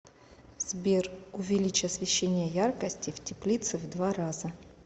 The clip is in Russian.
сбер увеличь освещение яркости в теплице в два раза